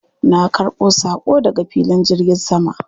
Na ƙarbo saƙo daga filin jirgin sama.